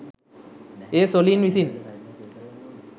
එය සොළීන් විසින්